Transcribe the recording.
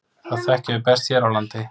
Það þekkjum við best hér á landi.